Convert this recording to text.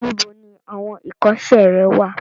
Níbo ni awọn ìkọ́sẹ́ rẹ wà?